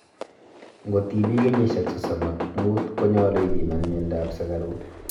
ngotimii kenyishek sosom ak moot konyalu ipiman miando ap sugaruk